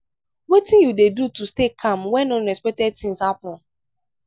wetin you dey do to stay calm when unexpected things happen?